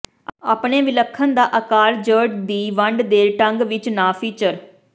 ਆਪਣੇ ਵਿਲੱਖਣ ਦਾ ਆਕਾਰ ਜ ਦੀ ਵੰਡ ਦੇ ਢੰਗ ਵਿਚ ਨਾ ਫੀਚਰ